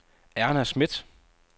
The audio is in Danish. Erna Smidt